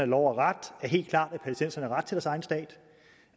lov og ret er helt klart